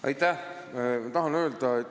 Aitäh!